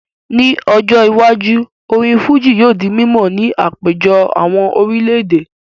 Ní ọjọ́ iwájú, orin Fújì yóò di mímọ̀ ní àpéjọ àwọn orílẹ̀ èdè